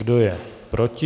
Kdo je proti?